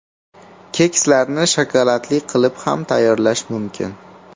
Kekslarni shokoladli qilib ham tayyorlash mumkin.